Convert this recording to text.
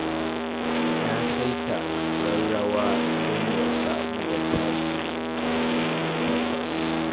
Ya saita ƙararrawa don ya samu ya tashi da ƙarfe takwas